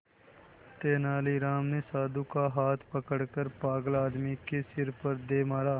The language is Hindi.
तेनालीराम ने साधु का हाथ पकड़कर पागल आदमी के सिर पर दे मारा